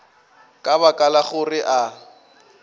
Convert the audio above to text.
ka baka la gore a